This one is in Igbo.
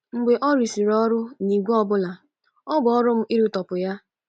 Mgbe ọ rụsịrị ọrụ n’ígwè ọ bụla, ọ bụ ọrụ m ịrụtọpụ ya.